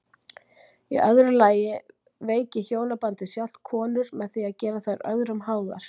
Í öðru lagi veiki hjónabandið sjálft konur með því að gera þær öðrum háðar.